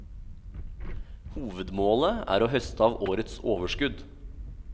Hovedmålet er å høste av årets overskudd.